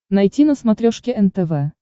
найти на смотрешке нтв